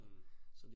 Mh